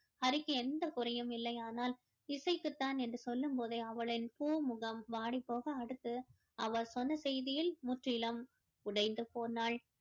ஹரிக்கு எந்த குறையும் இல்லை ஆனால் இசைக்குத்தான் என்று சொல்லும் போதே அவளின் பூ முகம் வாடி போக அடுத்து அவர் சொன்ன செய்தியில் முற்றிலும் உடைந்து போனாள்